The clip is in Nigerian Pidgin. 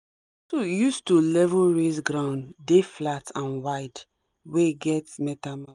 tool use to level raise ground dey flat and wide wey get metal